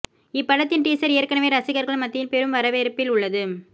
இப்படத்தின் டீசர் ஏற்கனவே ரசிகர்கள் மத்தியில் பெரும் வரவேற்பில் உள்ளது